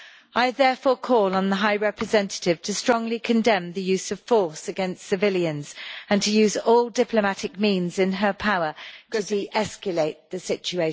I therefore call on the High Representative to strongly condemn the use of force against civilians, and to use all diplomatic means in her power to deescalate the situation.